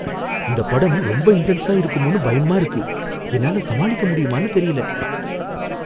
இந்த படம் ரொம்ப இன்டென்ஸா இருக்குமோனு பயமா இருக்கு, என்னால சமாளிக்க முடியுமானு தெரியல.